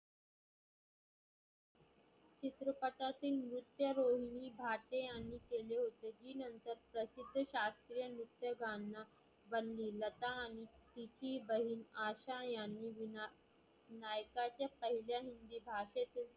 चित्रपटातील नृत्या रोहिनी भाटे यांनी केलेले होते. जी नंतर प्रसिद्ध शास्त्रीय नृत्य गांना बनली. लता आणि तिची बहिण आशा यांनी विना नायकाच्या पहिल्या हिंदी भाषेतील